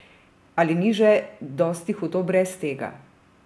Ali ni že dosti hudo brez tega?